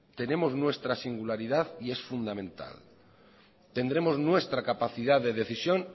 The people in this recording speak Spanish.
tenemos nuestra singularidad y es fundamental tendremos nuestra capacidad de decisión